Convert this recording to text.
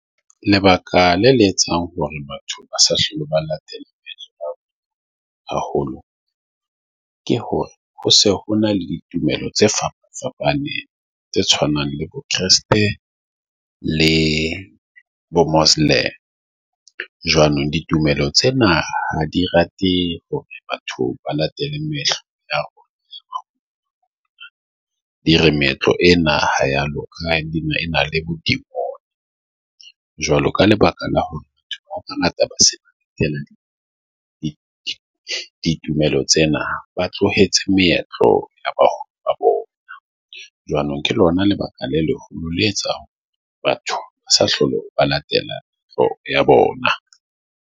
Lebaka la le etsang hore batho ba sa hlolo ba latela haholo ke hore ho se ho na le ditumelo tse fapafapaneng tse tshwanang le bo Kreste le bo Muslim jwanong. Ditumelo tsena ha di rate. Batho ba latele Metro di re meetlo e na yalo Na le Modimo? Jwalo ka lebaka la hore ditumelo tsena ba tlohetse meetlo jwanong ke lona lebaka le leholo le etsang batho ba sa hlolo ba latela bona